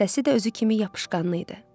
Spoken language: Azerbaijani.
Səsi də özü kimi yapışqanlı idi.